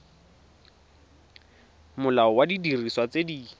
molao wa didiriswa tse di